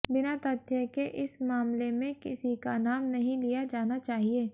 बिना तथ्य के इस मामले में किसी का नाम नहीं लिया जाना चाहिए